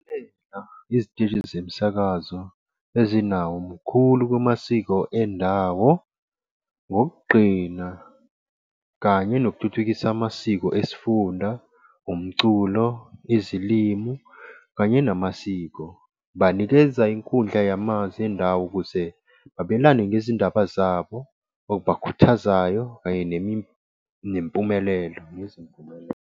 Iziteshi zemsakazo ezinawo, mkhulu kumasiko endawo ngokugqina kanye nokuthuthukisa amasiko esifunda, umculo, izilimu kanye namasiko. Banikeza inkundla yamanzi endawo ukuze babelane ngezindaba zabo okubakhuthazayo, Kanye nempumelelo ngezimpumelelo.